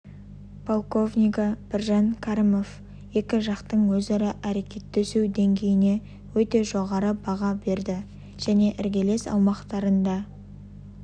полковнигі біржан кәрімов екі жақтың өзара әрекеттесу деңгейіне өте жоғары баға берді және іргелес аумақтарында